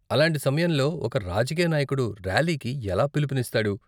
అలాంటి సమయంలో ఒక రాజకీయ నాయకుడు ర్యాలీకి ఎలా పిలుపునిస్తాడు?